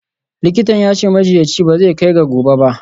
Likitan ya ce, majiyyaci ba zai kai ga gobe ba.